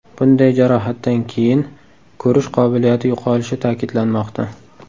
Bunday jarohatdan keyin ko‘rish qobiliyati yo‘qolishi ta’kidlanmoqda.